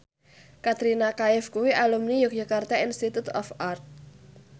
Katrina Kaif kuwi alumni Yogyakarta Institute of Art